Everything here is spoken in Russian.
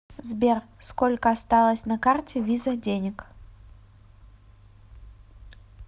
сбер сколько осталось на карте виза денег